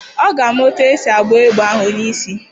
Ọ ga-ama etu esi agba egbe ahụ onye isi.